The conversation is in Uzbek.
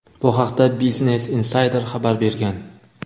Bu haqda "Business Insider" xabar bergan.